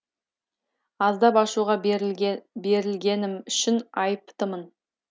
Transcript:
аздап ашуға берілгенім үшін айыптымын